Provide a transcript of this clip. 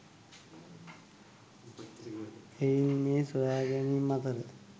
එහෙයින් මේ සොයාගැනීම් අතර